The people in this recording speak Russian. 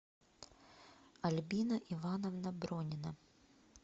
альбина ивановна бронина